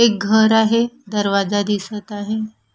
एक घर आहे दरवाजा दिसत आहे.